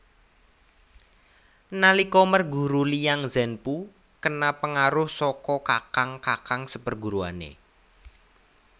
Nalika merguru Liang Zhenpu kena pengaruh saka kakang kakang seperguruane